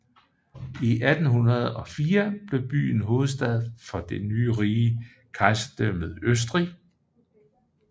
I 1804 blev byen hovedstad for det nye rige Kejserdømmet Østrig